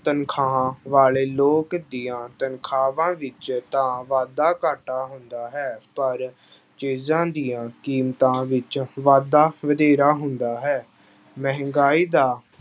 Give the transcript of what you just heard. ਤਨਖਾਹਾਂ ਵਾਲੇ ਲੋਕ ਦੀਆਂ ਤਨਖਾਹਾਂ ਵਿੱਚ ਤਾਂ ਵਾਧਾ ਘਾਟਾ ਹੁੰਦਾ ਹੈ ਪਰ ਚੀਜ਼ਾਂ ਦੀਆਂ ਕੀਮਤਾਂ ਵਿੱਚ ਵਾਧਾ ਵਧੇਰਾ ਹੁੰਦਾ ਹੈ, ਮਹਿੰਗਾਈ ਦਾ